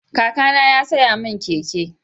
Kakana ya saya min keke.